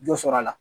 Dɔ sɔrɔ a la